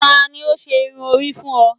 tani o ṣe irun ori fun ọ?